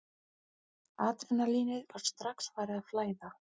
Adrenalínið var strax farið að flæða.